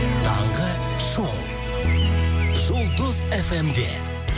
таңғы шоу жұлдыз фм де